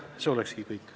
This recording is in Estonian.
See oleks kõik.